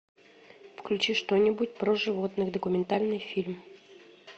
включи что нибудь про животных документальный фильм